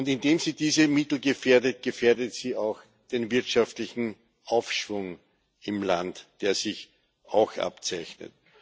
Indem sie diese Mittel gefährdet, gefährdet sie auch den wirtschaftlichen Aufschwung im Land, der sich abzeichnet.